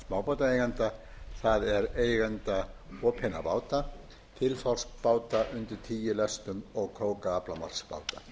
smábátaeigenda það er eigenda opinna báta þilfarsbáta undir tíu lestum og krókaaflamarksbáta